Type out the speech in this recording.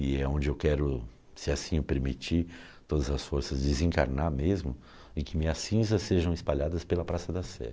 E é onde eu quero, se assim eu permitir, todas as forças desencarnar mesmo, e que minhas cinzas sejam espalhadas pela Praça da Sé.